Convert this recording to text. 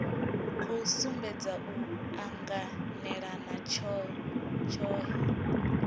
khou sumbedza u anganelana tshohe